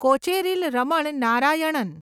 Kocheril Raman Narayanan